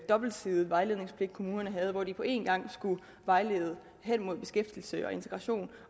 dobbeltsidede vejledningspligt kommunerne havde hvor de på en gang skulle vejlede hen imod beskæftigelse og integration